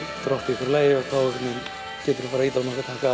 í hverju lagi og þá geturðu farið að ýta á nokkra takka